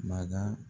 Maga